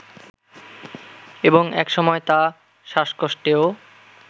এবং একসময় তা শ্বাসকষ্টেও